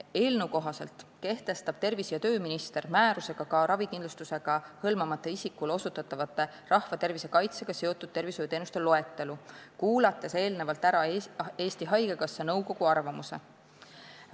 Eelnõu kohaselt kehtestab tervise- ja tööminister määrusega ka ravikindlustusega hõlmamata isikule osutatavate rahvatervise kaitsega seotud tervishoiuteenuste loetelu, kuulates eelnevalt ära Eesti Haigekassa nõukogu arvamuse.